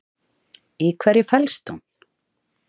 Í hverju felst hún?